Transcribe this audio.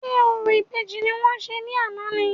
Ṣé orò ìbejì ni wọ́n ṣe ní àná ni?